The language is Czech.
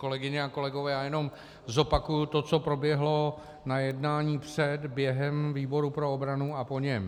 Kolegyně a kolegové, já jenom zopakuji to, co proběhlo na jednání před, během výboru pro obranu a po něm.